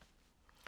TV 2